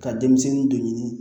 Ka denmisɛnnin dɔ ɲini